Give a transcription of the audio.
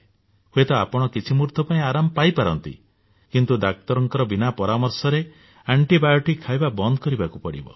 ହୁଏତ ଆପଣ କିଛି ମୁହୂର୍ତ୍ତ ପାଇଁ ଆରାମ ପାଇ ପାରନ୍ତି କିନ୍ତୁ ଡାକ୍ତରଙ୍କ ବିନା ପରାମର୍ଶରେ ଆଣ୍ଟିବାୟୋଟିକ୍ ଖାଇବା ବନ୍ଦ କରିବାକୁ ପଡିବ